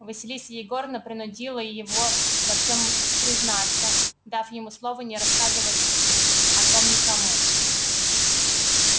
василиса егоровна принудила его во всём признаться дав ему слово не рассказывать о том никому